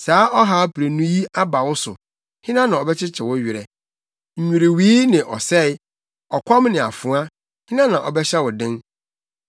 Saa ɔhaw prenu yi aba wo so, hena na ɔbɛkyekye wo werɛ? Nnwiriwii ne ɔsɛe, ɔkɔm ne afoa, hena na ɔbɛhyɛ wo den?